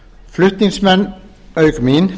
flutningsmenn auk mín